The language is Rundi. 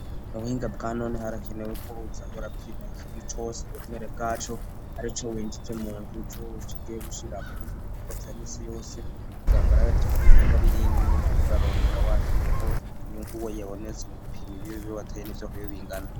Mu buhinga bwa none harakenewe ko Bose pima ikinu cose buri mwere bwaco arico winjitse muntuitse wo wushigaye gushira mu bindi bikurwa bya misi yose kugarango arabati kuri inyambari iyi nkumwe imbiri kurarondera wateye ko inyungu wo yebonesi mu gupiye ma ibiri bibo bateye n'isoho yo bingana.